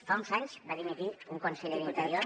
fa uns anys va dimitir un conseller d’interior